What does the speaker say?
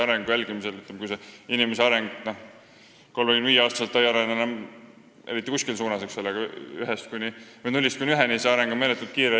Ütleme nii, et kui inimene 35-aastaselt enam eriti ei arene kuskile suunda, siis nullist esimese aastani on ta areng meeletult kiire.